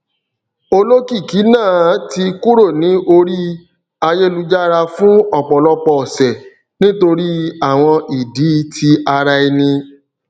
olókìkí náà ti kúrò ní orí ayélujára fún ọpọlọpọ ọsẹ nítorí àwọn ìdí ti ara ẹni